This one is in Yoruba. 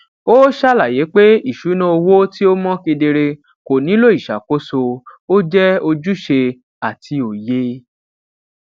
ó ṣàlàyé pé ìṣúná owó tí ó mọ kedere ko nílò ìṣàkóso ó jé ojúṣe àti òye